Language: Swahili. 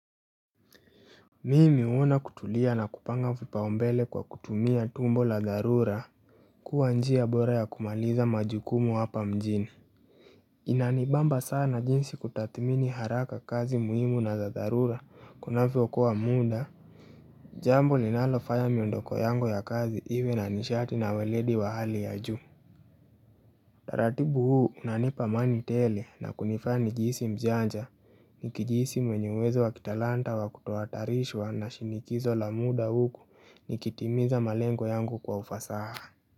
Mimi huona kutulia na kupanga vipaumbele kwa kutumia tumbo la dharura kua njia bora ya kumaliza majukumu hapa mjini inanibamba sana jinsi kutathmini haraka kazi muhimu na za dharura kunavyo kua muda Jambo linalofanya miondoko yangu ya kazi iwe na nishati na waledi wa hali ya juu utaratibu huu unanipa amani tele na kunifanya nijisi mjanja nikijisi mwenye uwezo wa kitalanta wa kutoatharishwa na shinikizo la muda huku nikitimiza malengo yangu kwa ufasaha.